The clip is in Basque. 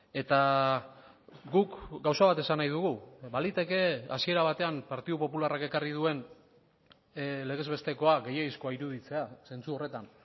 eta guk gauza bat esan nahi dugu baliteke hasiera batean partidu popularrak ekarri duen legez bestekoa gehiegizkoa iruditzea zentzu horretan